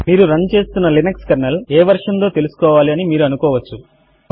మీరు రన్ చేస్తున్న Linux kernel ఏ వెర్షన్ దో తెలుసుకుకోవాలి అని మీరు అనుకోవచ్చు